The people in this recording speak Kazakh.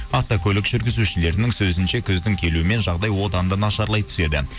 автокөлік жүргізушілерінің сөзінше күздің келуімен жағдай одан да нашарлай түседі